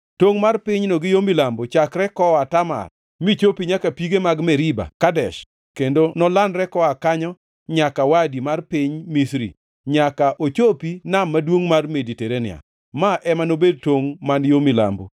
Tongʼ mar pinyno gi yo milambo nochakre koa Tamar michopi nyaka pige mag Meriba Kadesh, kendo nolandre koa kanyo nyaka Wadi mar Piny Misri nyaka ochopi Nam maduongʼ mar Mediterania. Ma ema nobed tongʼ man yo milambo.